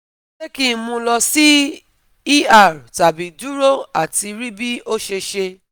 Se ki n mu lo si ER tabi duro ati ri bi ose se?